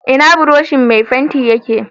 Ina buroshin mai fenti yake